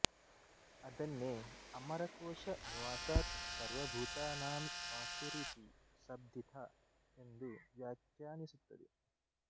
ಅದನ್ನೇ ಅಮರಕೋಶ ನಿವಾಸಾತ್ ಸರ್ವಭೂತಾನಾಂ ವಾಸ್ತುರಿತಿ ಶಬ್ದಿತಃ ಎಂದು ವ್ಯಾಖ್ಯಾನಿಸುತ್ತದೆ